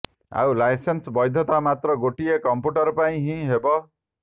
ଆଉ ଲାଇସେନ୍ସ ବୈଧତା ମାତ୍ର ଗୋଟିଏ କମ୍ପୁଟର ପାଇଁ ହିଁ ହେବ